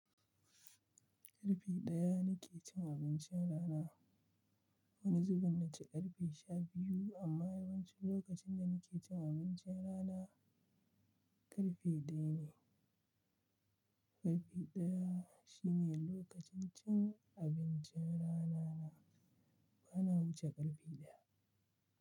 Karfe ɗaya nike cin abincin rana. Wani zubin naci karfe sha biyu amma yawanci lokacin da nike cin abincin rana karfe ɗaya ne. Karfe ɗaya shine lokacin cin abincin rana na, bana wuce karfe ɗaya.